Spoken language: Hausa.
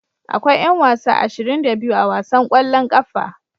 Akwai yan wasa 22 a wasan kwallon kafa.